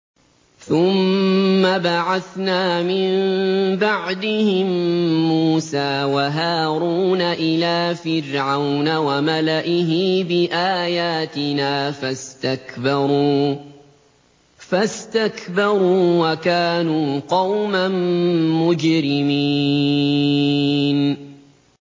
ثُمَّ بَعَثْنَا مِن بَعْدِهِم مُّوسَىٰ وَهَارُونَ إِلَىٰ فِرْعَوْنَ وَمَلَئِهِ بِآيَاتِنَا فَاسْتَكْبَرُوا وَكَانُوا قَوْمًا مُّجْرِمِينَ